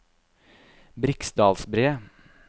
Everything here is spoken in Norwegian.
Briksdalsbre